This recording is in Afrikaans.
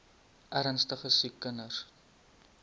ernstige siek kinders